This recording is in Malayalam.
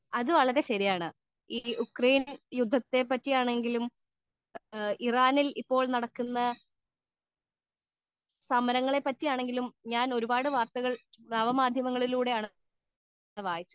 സ്പീക്കർ 2 അത് വളരെ ശരിയാണ് ഉക്രയിനിൽ നടക്കുന്ന യുദ്ധത്തെപ്പറ്റിയാണെങ്കിലും ഇറാനിൽ നടക്കുന്ന സമരത്തെ പറ്റിയാണെങ്കിലും ഞാൻ ഒരുപാട് വാർത്തകൾ നവമാധ്യമങ്ങളിലൂടെയാണ് വായിച്ചത്